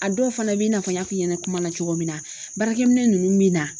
A dɔw fana b'i n'a fɔ n y'a f'i ɲɛna kuma na cogo min na baarakɛminɛ nunnu bi na